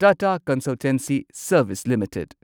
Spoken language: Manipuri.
Tata Consultancy Service limited